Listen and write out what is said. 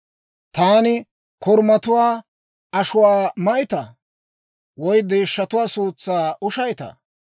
Taani korumatuwaa ashuwaa mayttaa? Woy deeshshatuwaa suutsaa ushaytaa?